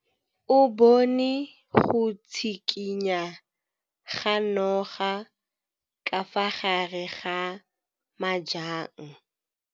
O bone go tshikinya ga noga ka fa gare ga majang.